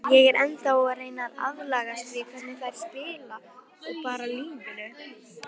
Ég er ennþá að reyna að aðlagast því hvernig þær spila og bara lífinu.